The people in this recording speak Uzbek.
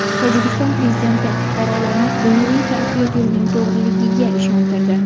Tojikiston prezidenti fuqarolarini dunyoviy taraqqiyot yo‘lining to‘g‘riligiga ishontirdi.